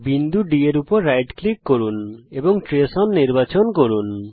বিন্দু D এর উপর রাইট ক্লিক করুন এবং ট্রেস ওন নির্বাচন করুন